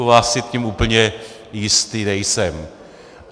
U vás si tím úplně jistý nejsem.